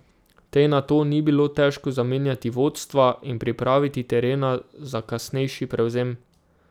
Tej nato ni bilo težko zamenjati vodstva in pripraviti terena za kasnejši prevzem.